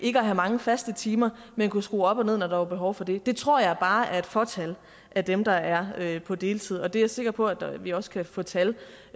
have mange faste timer men kunne skrue op og ned når der var behov for det det tror jeg bare er et fåtal af dem der er på deltid og jeg er sikker på at vi også kan få tal